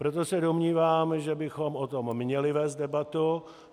Proto se domnívám, že bychom o tom měli vést debatu.